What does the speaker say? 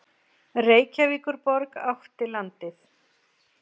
Reykjavíkurborg átti landið.